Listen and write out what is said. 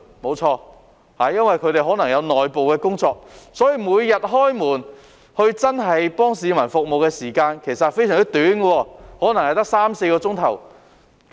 沒錯，因為他們可能有內部工作，所以每日開門服務市民的時間其實非常短，可能只有三四小時。